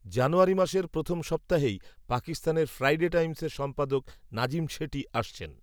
জানুয়ারি মাসের প্রথম সপ্তাহেই, পাকিস্তানের ফ্রাইডে টাইমসএর সম্পাদক, নাজিম শেঠি আসছেন